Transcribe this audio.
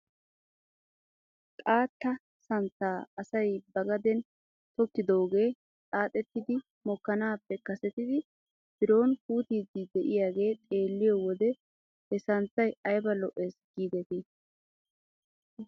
Xaatta santtaa asay ba gaden tokkidoogee xaaxettidi mokkanaappe kasetidi biroon puutiidi de'iyaagee xeeliyoo wode he santtay ayba lo'es giidetii .